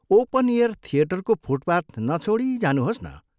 Open air थियेटरको footpath नछोडी जानुहोस् न।